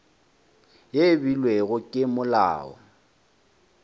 ye e beilwego ke molao